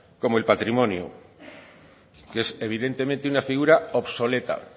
como el patrimonio que es evidentemente una figura obsoleta